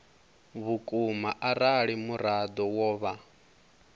vhukuma arali muraḓo wo vha